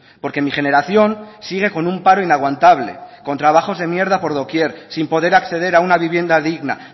porque mi generación sigue con un paro inaguantable con trabajos de mierda por doquier sin poder acceder a una vivienda digna